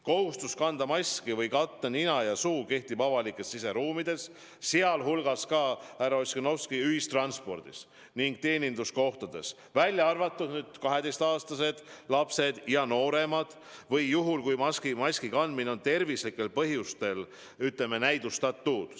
Kohustus kanda maski või katta nina ja suu muul viisil kehtib avalikes siseruumides, sealhulgas ka, härra Ossinovski, ühistranspordis ning teeninduskohtades, välja arvatud 12-aastased ja nooremad lapsed või juhul, kui maski kandmine on tervislikel põhjustel vastunäidustatud.